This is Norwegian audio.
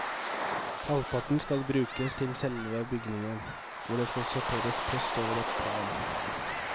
Halvparten skal brukes til selve bygningen, hvor det skal sorteres post over ett plan.